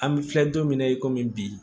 An bɛ filɛ don min na i komi bi